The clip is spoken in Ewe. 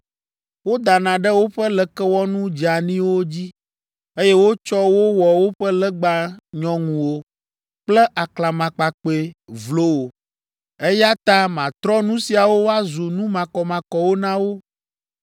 Wodana ɖe woƒe lekewɔnu dzeaniwo dzi, eye wotsɔ wo wɔ woƒe legba nyɔŋuwo kple aklamakpakpɛ vlowo. Eya ta matrɔ nu siawo woazu nu makɔmakɔwo na wo.